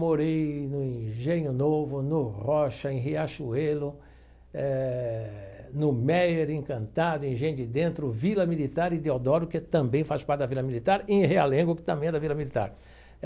Morei no Engenho Novo, no Rocha, em Riachuelo, eh no Méier Encantado, Engenho de Dentro, Vila Militar e Deodoro, que também faz parte da Vila Militar, em Realengo, que também é da Vila Militar.